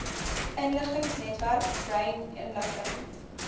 inligtingsnetwerk brain inligting